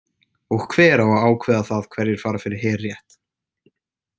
Og hver á að ákveða það hverjir fara fyrir herrétt?